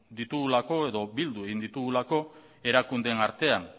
ditugulako edo bildu egin ditugulako erakundeen artean